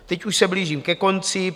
Teď už se blížím ke konci.